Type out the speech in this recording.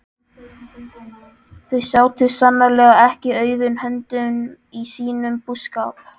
Þau sátu sannarlega ekki auðum höndum í sínum búskap.